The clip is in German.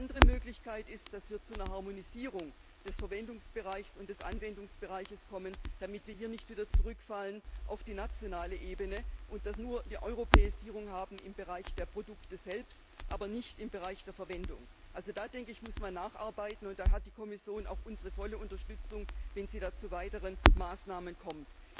Die andere Möglichkeit ist, dass wir zu einer Harmonisierung des Verwendungsbereichs und des Anwendungsbereichs kommen, damit wir hier nicht wieder zurückfallen auf die nationale Ebene und eine Europäisierung nur im Bereich der Produkte selbst haben, aber nicht im Verwendungsbereich. Hier müssen wir nacharbeiten, und da hat die Kommission auch unsere volle Unterstützung, wenn sie zu weiteren Maßnahmen kommt.